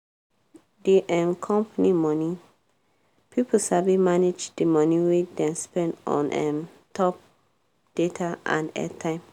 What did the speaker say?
di um company money pipo sabi manage di money wey dem spend on um top data and airtime.